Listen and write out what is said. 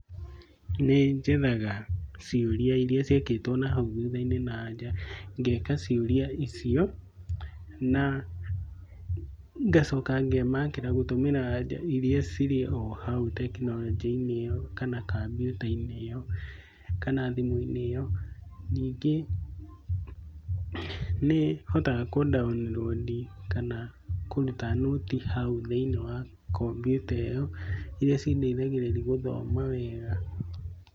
Nĩnjethaga ciũria iria ciekĩtwo na hau thutha na anja. Ngeka ciũria icio, na ngacoka ngemakĩra gũtũmĩra aja iria irĩ ohao tekinoronjĩ-inĩ ĩo na kambiuta-inĩ ĩo kana thimũ-inĩ ĩo. Nyingĩ nĩhotaga kũ download kana kũruta nũti hau thĩinĩ wa kombiuta ĩyo. Iria cindeithagĩrĩria gũthoma wega.